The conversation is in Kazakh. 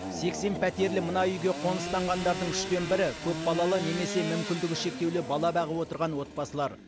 сексен пәтерлі мына үйге қоныстанғандардың үштен бірі көпбалалы немесе мүмкіндігі шектеулі бала бағып отырған отбасылар